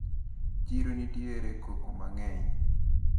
Chiro nitiere koko mang`eny.